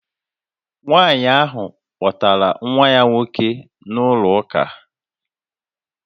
Nwanyị ahụ kpọtara nwa ya nwoke na-ụlọ ụka